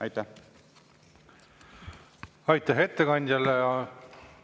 Aitäh ettekandjale!